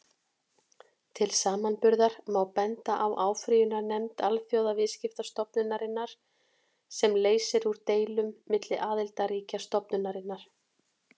Til samanburðar má benda á áfrýjunarnefnd Alþjóðaviðskiptastofnunarinnar, sem leysir úr deilum milli aðildarríkja stofnunarinnar.